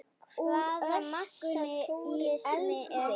Hvaða massa túrismi er þetta?